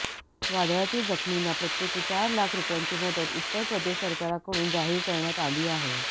वादळातील जखमींना प्रत्येकी चार लाख रुपयांची मदत उत्तर प्रदेश सरकारकडून जाहीर करण्यात आली आहे